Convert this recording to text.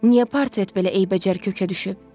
Niyə portret belə eybəcər kökə düşüb?